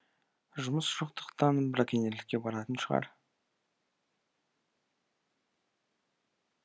жұмыс жоқтықтан браконьерлікке баратын шығар